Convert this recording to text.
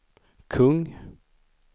kung